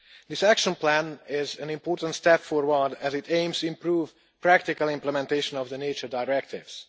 This action plan is an important step forward, as it aims to improve the practical implementation of the nature directives.